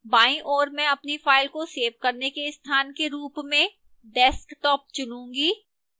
बाईं ओर मैं अपनी फ़ाइल को सेव करने के स्थान के रूप desktop चुनूंगी